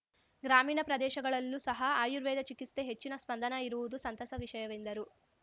ಗ್ರಾಮೀಣ ಪ್ರದೇಶಗಳಲ್ಲೂ ಸಹ ಆರ್ಯುವೇದ ಚಿಕಿತ್ಸೆ ಹೆಚ್ಚಿನ ಸ್ಪಂದನಾ ಇರುವುದು ಸಂತಸ ವಿಷಯವೆಂದರು